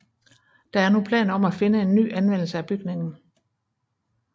Der er nu planer om at finde en ny anvendelse af bygningen